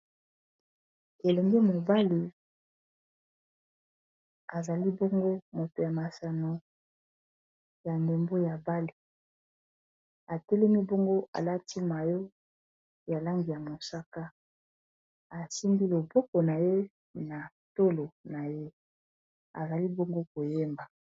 elombe mobali azali bongo moto ya masano ya ndembo ya bale atelemi bongo alati mayo ya langi ya mosaka atinbi loboko na ye na tolo na ye azali bongo koyeba